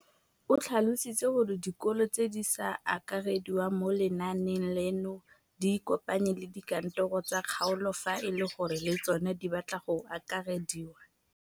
O tlhalositse gore dikolo tse di sa akarediwang mo lenaaneng leno di ikopanye le dikantoro tsa kgaolo fa e le gore le tsona di batla go akarediwa.